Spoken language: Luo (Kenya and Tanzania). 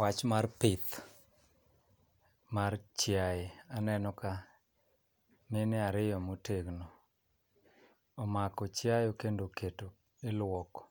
Wach mar pith mar chiaye. Aneno ka mine ariyo motegno omako chiayo kendo oketo ilwoko,